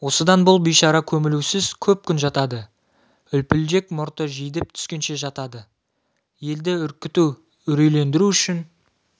осыдан бұл бейшара көмілусіз көп күн жатады үлпілдек мұрты жидіп түскенше жатады елді үркіту үрейлендіру үшін